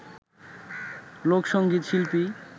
লোকসঙ্গীত শিল্পী